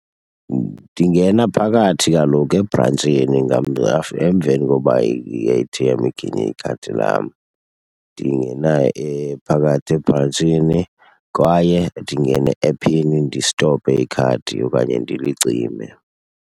Ndingena phakathi kaloku ebrantshini emveni koba i-A_T_M iginye ikhadi lam. Ndingena phakathi ebrantshini kwaye ndingene e-ephini ndistope ikhadi okanye ndilicime.